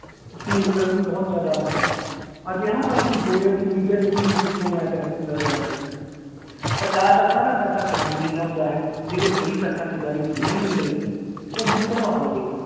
ਉਸਨੂੰ ਮੁਕਰਨ ਦੀ ਬਹੁਤ ਜ਼ਿਆਦਾ ਆਦਤ ਹੈ, ਅਜਿਹਾ ਝੂਠ ਬੋਲੇਗਾ ਕਿ media 'ਚ ਉਸਨੂੰ ਸੁਰਖੀਆਂ ਬਣਾ ਕੇ ਰੱਖ ਦਿੱਤਾ ਜਾਂਦਾ ਹੈ ਸਰਕਾਰ ਦਾ ਸਾਰਾ ਪੈਸਾ ਖਜ਼ਾਨੇ 'ਚ ਆਉਂਦਾ ਹੈ, ਜੇਕਰ ਕੋਈ ਪੈਸਾ ਖਜ਼ਾਨੇ ਚੋਂ ਨਹੀਂ ਵੀ ਨਿਕਲਿਆ ਉਹ ਹੁਣ ਕਢਵਾ ਲਵੇ